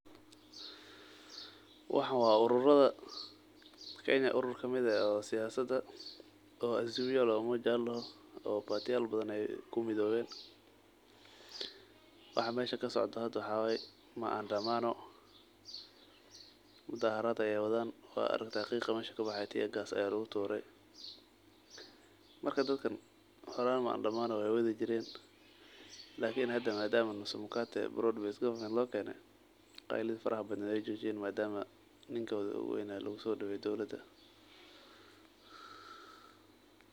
Waxan wa ururada siyasada kamid eh ee layirahdo azimio la umoja oo party yal badan ayey kumidowen, waxa meesha kasocdo waxa waye maandamao mudaharad ayey wadan oo waligod sidan ayey uu mudaharadi jiran lakin hada madama broad based government lakene qeylidi faraha badna wey jojiyen madama ninki oguweyna lugusodaweye dowlada.